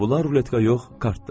Bura ruletka yox, kartdır.